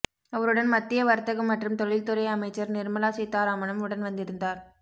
அவருடன் மத்திய வர்த்தகம் மற்றும் தொழில் துறை அமைச்சர் நிர்மலா சீதாராமனும் உடன் வந்திருந்தார்